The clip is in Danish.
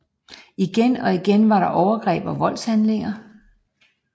Igen og igen var der overgreb og voldshandlinger